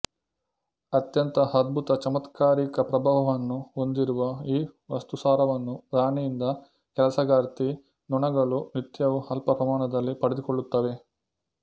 ಅತ್ಯಂತ ಅದ್ಭುತ ಚಮತ್ಕಾರಿಕ ಪ್ರಭಾವವನ್ನು ಹೊಂದಿರುವ ಈ ವಸ್ತುಸಾರವನ್ನು ರಾಣಿಯಿಂದ ಕೆಲಸಗಾರ್ತಿ ನೊಣಗಳು ನಿತ್ಯವೂ ಅಲ್ಪ ಪ್ರಮಾಣದಲ್ಲಿ ಪಡೆದುಕೊಳ್ಳುತ್ತವೆ